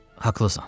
Haqlısan.